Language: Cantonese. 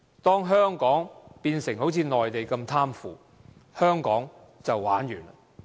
當香港一旦變成好像內地那麼貪腐，香港便會"玩完"。